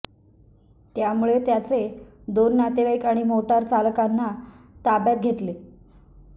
त्यामुळे त्याचे दोन नातेवाईक आणि मोटार चालकांना ताब्यात घेतले